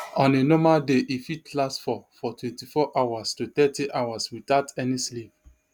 on a normal day e fit last for for twenty-four hours to thirty hours without any sleep